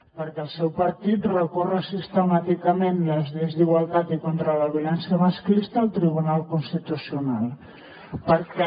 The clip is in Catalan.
perquè el seu partit recorre sistemàticament les lleis d’igualtat i contra la violència masclista al tribunal constitucional perquè